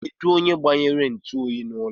Kedụ onye gbanyere ntuoyi n'ụlọ a?